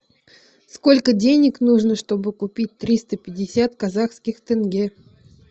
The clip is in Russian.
сколько денег нужно чтобы купить триста пятьдесят казахских тенге